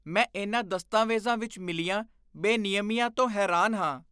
ਮੈਂ ਇਨ੍ਹਾਂ ਦਸਤਾਵੇਜ਼ਾਂ ਵਿੱਚ ਮਿਲੀਆਂ ਬੇਨਿਯਮੀਆਂ ਤੋਂ ਹੈਰਾਨ ਹਾਂ।